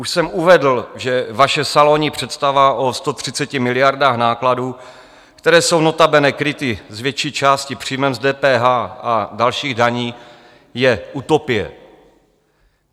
Už jsem uvedl, že vaše salonní představa o 130 miliardách nákladů, které jsou notabene kryty z větší části příjmem z DPH a dalších daní, je utopie.